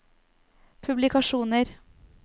publikasjoner